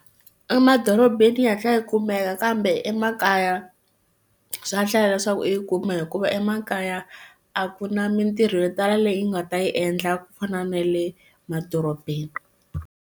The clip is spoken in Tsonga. Emadorobeni yi hatla yi kumeka kambe emakaya swa hlaya leswaku u yi kume hikuva emakaya a ku na mintirho yo tala leyi nga ta yi endla ku fana na le madorobeni.